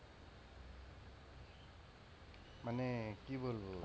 মানে কি বলবো?